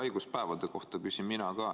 Haiguspäevade kohta küsin ka mina.